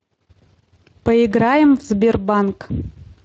поиграем в сбербанк